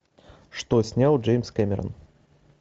что снял джеймс кэмерон